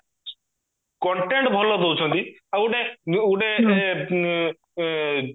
content ଭଲ ଦଉଚନ୍ତି ଆଉ ଗୋଟେ ଏ